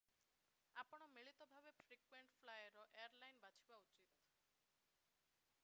ଆପଣ ମିଳିତ ଭାବେ ଫ୍ରିକ୍ୱେଣ୍ଟ ଫ୍ଲାଏର୍ ଏୟାରଲାଇନ୍ ବାଛିବା ଉଚିତ